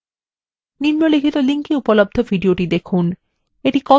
নিম্নলিখিত link এ উপলব্ধ video দেখুন